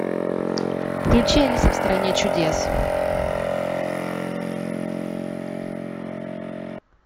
включи алиса в стране чудес